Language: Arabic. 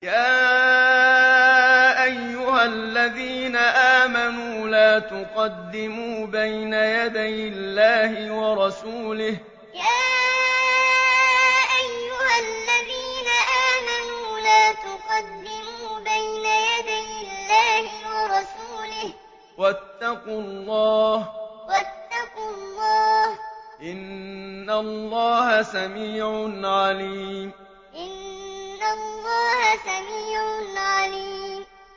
يَا أَيُّهَا الَّذِينَ آمَنُوا لَا تُقَدِّمُوا بَيْنَ يَدَيِ اللَّهِ وَرَسُولِهِ ۖ وَاتَّقُوا اللَّهَ ۚ إِنَّ اللَّهَ سَمِيعٌ عَلِيمٌ يَا أَيُّهَا الَّذِينَ آمَنُوا لَا تُقَدِّمُوا بَيْنَ يَدَيِ اللَّهِ وَرَسُولِهِ ۖ وَاتَّقُوا اللَّهَ ۚ إِنَّ اللَّهَ سَمِيعٌ عَلِيمٌ